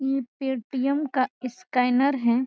ई Paytm का scanner है।